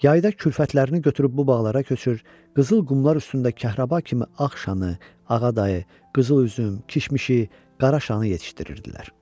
Yayda körpələrini götürüb bu bağlara köçür, qızıl qumlar üstündə kəhrəba kimi ağ şanı, ağa şanı, qızıl üzüm, kişmişi, qara şanı yetişdirirdilər.